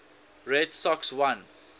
red sox won